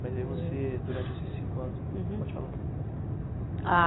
Mas aí você, durante esses cinco anos. Uhum. Pode falar. A